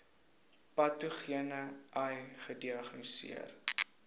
patogene ai gediagnoseer